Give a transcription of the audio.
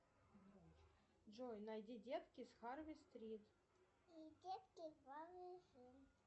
джой найди детки с харли стрит